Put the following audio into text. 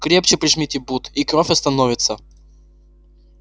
крепче прижмите бут и кровь остановится